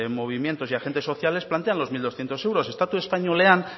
movimientos y agentes sociales plantean los mil doscientos euros estatu espainolean